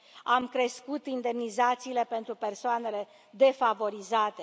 Am crescut indemnizațiile pentru persoanele defavorizate.